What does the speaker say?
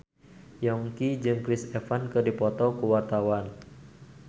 Yongki jeung Chris Evans keur dipoto ku wartawan